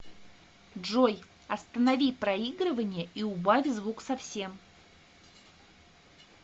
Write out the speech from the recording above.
джой останови проигрывание и убавь звук совсем